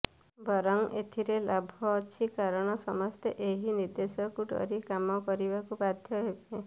ବରଂ ଏଥିରେ ଲାଭ ଅଛି କାରଣ ସମସ୍ତେ ଏହି ନିର୍ଦେଶକୁ ଡରି କାମ କରିବାକୁ ବାଧ୍ୟ ହେବେ